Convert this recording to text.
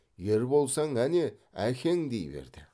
ер болсаң әне әкең дей берді